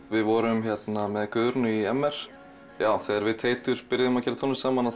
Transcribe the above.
við vorum með Guðrúnu í m r þegar við Teitur byrjuðum að gera tónlist saman